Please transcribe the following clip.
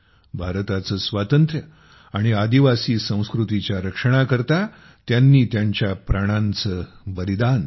भारताचे स्वातंत्र्य आणि आदिवासी संस्कृतीच्या रक्षणाकरिता त्यांनी त्यांच्या प्राणांचे बलिदान दिले